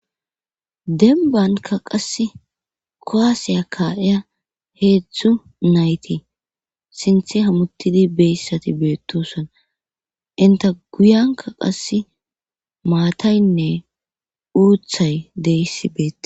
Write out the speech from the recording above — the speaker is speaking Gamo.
denbanka qasse kowaasiya ka7eya heedzdzu nayti sinthe hamuttidi beyssati beettusona inta guyanka qasse maataynne uuthay deyissi beeta